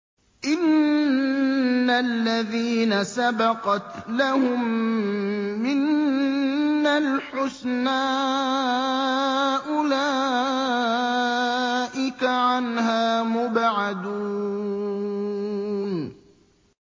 إِنَّ الَّذِينَ سَبَقَتْ لَهُم مِّنَّا الْحُسْنَىٰ أُولَٰئِكَ عَنْهَا مُبْعَدُونَ